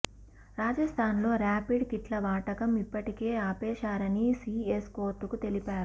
రాజస్థాన్లో ర్యాపిడ్ కిట్ల వాడకం ఇప్పటికే ఆపేశారని సిఎస్ కోర్టుకు తెలిపారు